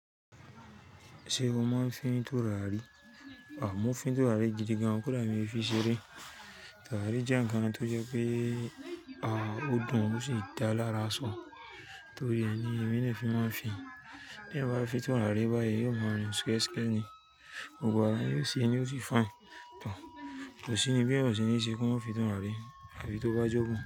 Ṣé o máa ń fín turárì? À, mo ń fín turárì gidi gan, kódà èmi o fi ṣeré. Turárì jẹ́ ǹnkan tó jẹ́ pé, a ó dùn ó sì dá lára ṣàn. Torí ẹ ni èmi dè fi máa ń fín. Bí eeyan bá fin turárì báyìí, yóò máa rìn skẹ́skẹ́ ni, gbogbo ara yóò sì ní ó sì fine. To, kòsí ni bí ó ṣe ní ṣe kó má fín turárì, eyí tó bá jọ̀gún.